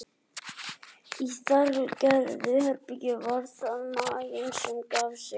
Í þartilgerðum herbergjum var það maginn sem gaf sig.